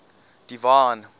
divine